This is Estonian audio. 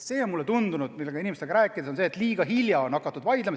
Mulle on inimestega rääkides tundunud, et liiga hilja on hakatud vaidlema.